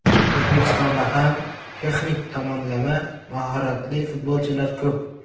O‘zbekistonda ham texnik tomonlama mahoratli futbolchilar ko‘p.